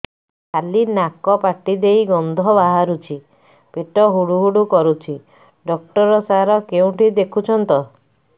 ଖାଲି ନାକ ପାଟି ଦେଇ ଗଂଧ ବାହାରୁଛି ପେଟ ହୁଡ଼ୁ ହୁଡ଼ୁ କରୁଛି ଡକ୍ଟର ସାର କେଉଁଠି ଦେଖୁଛନ୍ତ